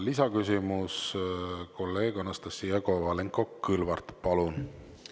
Lisaküsimus, kolleeg Anastassia Kovalenko-Kõlvart, palun!